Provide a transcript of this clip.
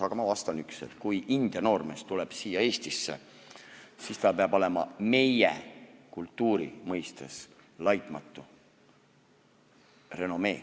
Aga ma vastan ühte: kui India noormees tuleb siia Eestisse, siis tal peab olema meie kultuuri mõistes laitmatu renomee.